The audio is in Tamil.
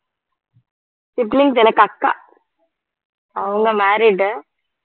siblings எனக்கு அக்கா அவங்க married